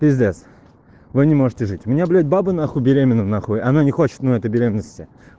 пиздец вы не можете жить у меня блять баба нахуй беременная нахуй она не хочет этой беременности